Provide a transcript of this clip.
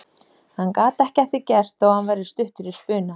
Hann gat ekki að því gert þó að hann væri stuttur í spuna.